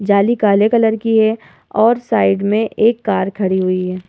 जाली काले कलर की है और साइड में एक कार खड़ी हुई है।